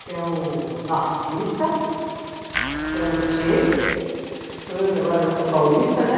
Que é o nortista, que é o tchê, sou eu que agora já sou paulista, né?